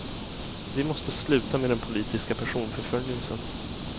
Vi måste sluta med den politiska personförföljelsen.